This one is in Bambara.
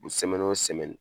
Sɛmɛni o sɛmɛni.